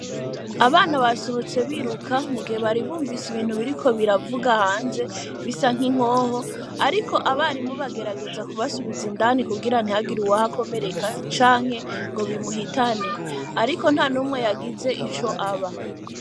Abana basohotse biruka mugihe bari bumvise ibintu biriko biravuga hanze bisa n’inkoho ,ariko abarimu bagerageza kubasubiza indani kugira ntihagire uwuhakomereka canke ngo bimuhitane, ariko ntanumwe yagize ico aba .